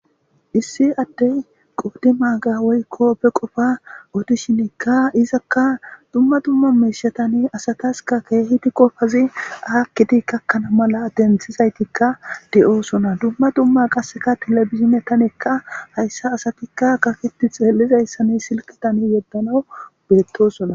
Issi addey qoddi maaga woykko be qofa otishinikka izakka dumma dumma meeshatani asataska keehidi qofazi aakkiti kakkana mala denthizaytikka de'oosona dumma dumma qasseka telebizine tanekka hayssa asatikka gaketi xeellizayssani silkitani yeddana beettosona.